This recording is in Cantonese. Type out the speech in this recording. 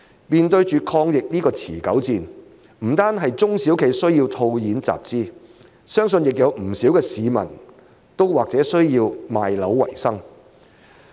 面對抗疫這場持久戰，不單中小企需要套現集資，相信不少市民也或者需要賣樓為生。